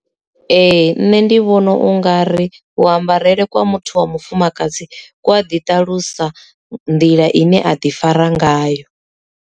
Ee nṋe ndi vhona u nga ri ku ambarele kwa muthu wa mufumakadzi ku a ḓiṱalusa nḓila ine aḓi fara ngayo.